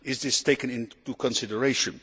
Is this being taken into consideration?